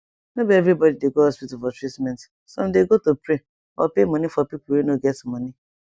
no be be everybody dey go hospital for treatment some dey go to pray or pay money for pipu wey no get money